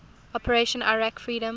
operation iraqi freedom